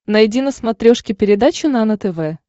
найди на смотрешке передачу нано тв